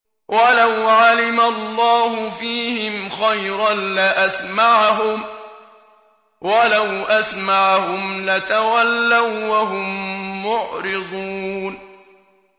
وَلَوْ عَلِمَ اللَّهُ فِيهِمْ خَيْرًا لَّأَسْمَعَهُمْ ۖ وَلَوْ أَسْمَعَهُمْ لَتَوَلَّوا وَّهُم مُّعْرِضُونَ